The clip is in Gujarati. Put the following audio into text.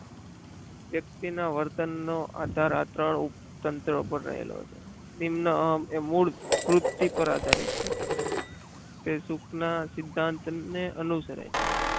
વ્યક્તિના વર્તનનો આધાર આ ત્રણ ઉપર તંત્ર પર રહેલો છે. નિમ્ન અહમ એ મૂળ વૃતિ પર આધારિત છે તે સુખના સિદ્ધાંતને અનુસરે છે.